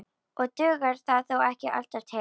Og dugar það þó ekki alltaf til.